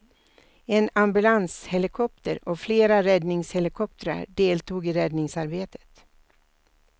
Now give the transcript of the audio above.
En ambulanshelikopter och flera räddningshelikoptrar deltog i räddningsarbetet.